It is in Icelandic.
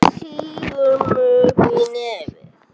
Hún sýgur upp í nefið.